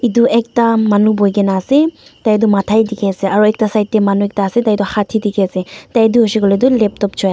edu ekta manu boikae na ase tai tu matha he dikhiase aro ekta side tae manu ekta ase tai tu hat he dikiase Tai tu hoishey koilae tu laptop choiase--